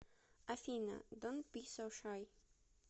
афина донт би соу шай